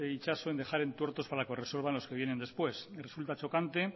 itxaso en dejar entuertos para que resuelvan los que vienen después me resulta chocante